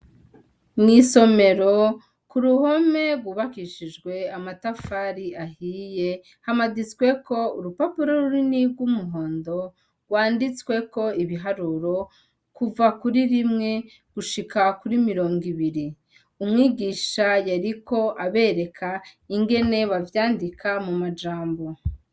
Mw'isomero, ku ruhome rwubakishijwe amatafari ahiye, hamanitsweko urupapuro runini rw'umuhondo rwanditsweko ibiharuro kuva kuri rimwe gushika kuri mirongo ibiri. Umwigisha yariko abereka ingene bavyandika mu majambo.